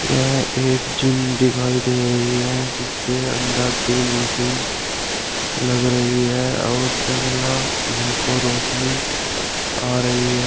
यह एक जिम दिखाई दे रही है जिसके अंदर तीन मशीन लग रही है और जंगला में को रोशनी आ रही है।